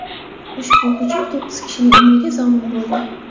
Ushbu hujum to‘qqiz kishining umriga zomin bo‘ldi.